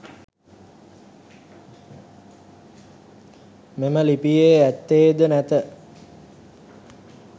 මෙම ලිපියේ ඇත්තේද නැත.